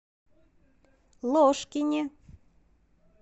ложкине